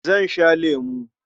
Zan sha lemo.